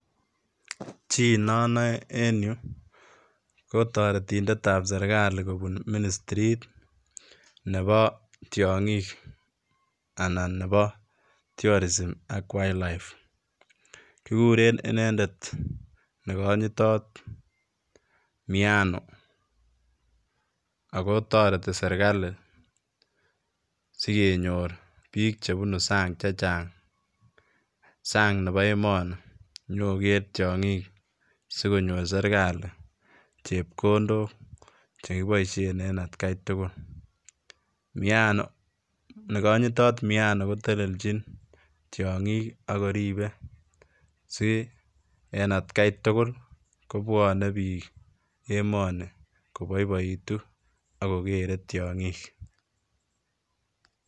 Chi nonoe en yu kotoretindetab serkali kobun ministrit tiongik anan nebo Tourism ak Wildlife kikuren inendet negonyitot Miano ako toreti serkali sigenyor bik chebunu sang chechang ,sang nebo emoni nyokoker tiongik sikonyor serkali chepkondok chekiboisien en atkaitugul Miano, negonyitot Miano koteleljin tiongik ak koribe si en atkaitugul kobwonee bik emoni koboiboitu ak kokere tiongik.